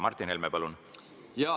Martin Helme, palun!